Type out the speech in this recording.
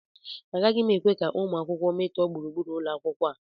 Agaghị m ekwe ka ụmụ akwụkwọ metọọ gburugburu ụlọ akwụkwọ a